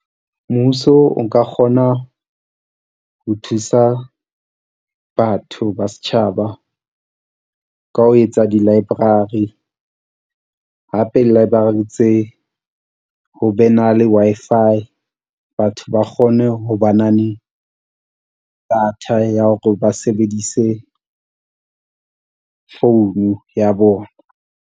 Mmuso o nka kgona ho thusa batho ba setjhaba ka ho etsa di library hape library tse ho be na le Wi-Fi batho ba kgone ho ba na le data ya hore ba sebedise phone ya bona.